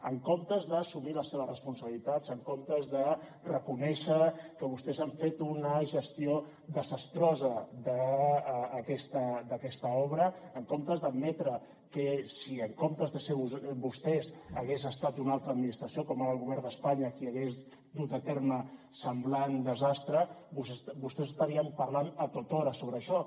en comptes d’assumir les seves responsabilitats en comptes de reconèixer que vostès han fet una gestió desastrosa d’aquesta obra en comptes d’admetre que si en comptes de ser vostès hagués estat una altra administració com ara el govern d’espanya qui hagués dut a terme semblant desastre vostès estarien parlant a tothora sobre això